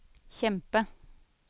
kjempe